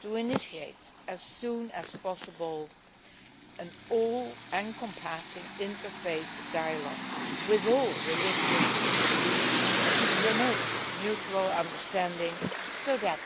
to initiate as soon as possible an all encompassing inter faith dialogue with all religious beliefs to promote mutual understanding so that